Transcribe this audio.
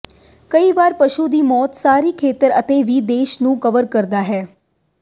ਕਈ ਵਾਰ ਪਸ਼ੂ ਦੀ ਮੌਤ ਸਾਰੀ ਖੇਤਰ ਅਤੇ ਵੀ ਦੇਸ਼ ਨੂੰ ਕਵਰ ਕਰਦਾ ਹੈ